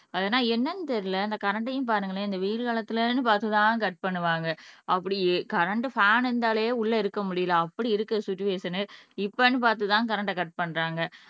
ஆனா என்னன்னு தெரியலே இந்த கரண்ட்ஐயும் பாருங்களேன் இந்த வெயில் காலத்துலன்னு பார்த்து தான் கட் பண்ணுவாங்க அப்படி கரண்ட் ஃபேன் இருந்தாலே உள்ள இருக்க முடியலை அப்படி இருக்கு சுச்சுவேஷனு இப்பன்னு பார்த்துதான் கரண்ட் ஆஹ் கட் பண்றாங்க